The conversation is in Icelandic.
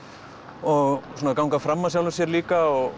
og svona ganga fram af sjálfum sér líka og